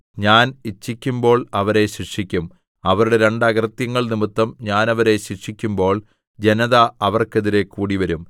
ഞാൻ ഇച്ഛിക്കുമ്പോൾ അവരെ ശിക്ഷിക്കും അവരുടെ രണ്ട് അകൃത്യങ്ങൾ നിമിത്തം ഞാൻ അവരെ ശിക്ഷിക്കുമ്പോൾ ജനത അവർക്കെതിരെ കൂടിവരും